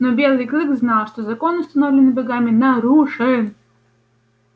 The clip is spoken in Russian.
но белый клык знал что закон установленный богами нарушен